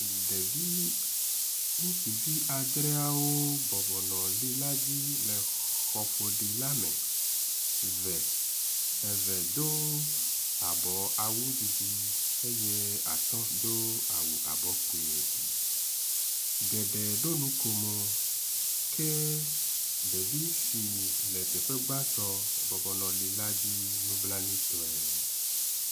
Ɖevi ŋustuvi adreawo bɔbɔ nɔ li la dzi le xɔ ƒoɖi la me, eve do abɔ awu didi eye atɔ̃ do awu abɔ kpui, geɖe ɖo nukomo ke ɖevi si le teƒe gbãtɔ bɔbɔ nɔ li la dzi nublanui tɔe